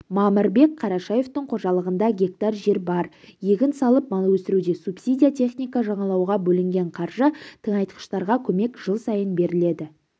мамырбек қарашевтің қожалығында гектар жер бар егін салып мал өсіреді субсидия техника жаңалауға бөлінген қаржы тыңайтқыштарға көмек жыл сайын беріледі